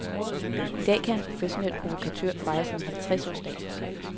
I dag kan en professionel provokatør fejre sin halvtreds års dag.